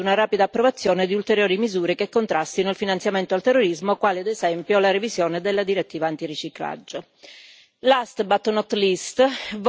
Tuttavia, dovremmo ancora lavorare per arrivare ad una rapida approvazione di ulteriori misure che contrastino il finanziamento al terrorismo, quale ad esempio la revisione della direttiva antiriciclaggio.